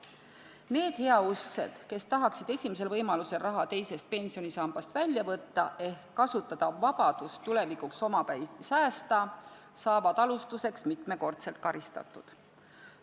Need heausksed inimesed, kes tahavad esimesel võimalusel raha teisest pensionisambast välja võtta ehk siis kasutada võimalust tulevikuks omapäi säästa, saavad alustuseks mitmekordselt karistatud.